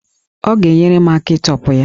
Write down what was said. Ọ ga-enyere m aka ịtọpụ ya